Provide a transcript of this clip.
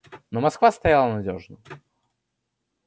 но москва стояла надёжно